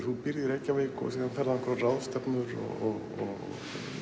þú býrð í Reykjavík og síðan ferðu á einhverjar ráðstefnur og